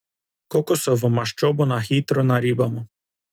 Kokosovo maščobo na hitro naribamo.